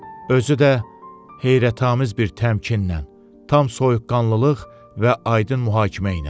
Özü də heyrətamiz bir təmkinlə, tam soyuqqanlılıq və aydın mühakimə ilə.